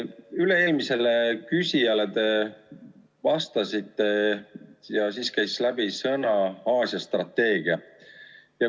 Kui te üle-eelmisele küsijale vastasite, siis käis läbi sõnaühend "Aasia strateegia".